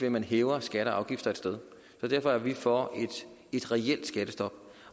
at man hæver skatter og afgifter et sted derfor er vi for et reelt skattestop